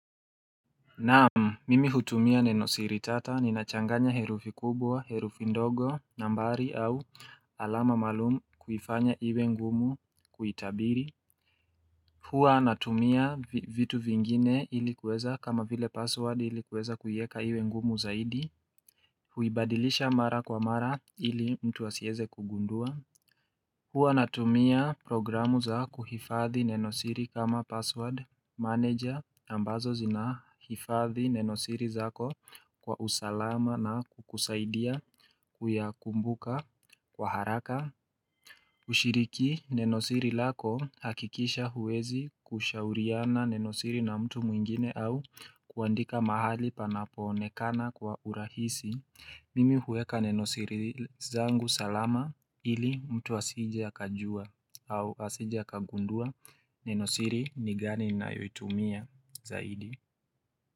Naam, mimi hutumia nenosiri tata, ninachanganya herufi kubwa, herufi ndogo, nambari au alama malumu kuifanya iwe ngumu kuitabiri. Huwa natumia vitu vingine ili kuweza kama vile password ili kuweza kuieka iwe ngumu zaidi. Huibadilisha mara kwa mara ili mtu asieze kugundua. Huwa natumia programu za kuhifadhi nenosiri kama password manager ambazo zinahifadhi nenosiri zako. Kwa usalama na kukusaidia kuyakumbuka kwa haraka ushiriki nenosiri lako hakikisha huwezi kushauriana nenosiri na mtu mwingine au kuandika mahali panapo onekana kwa urahisi mimi huweka nenosiri zangu salama ili mtu asije akajua au asije akagundua nenosiri ni gani ninayoitumia zaidi.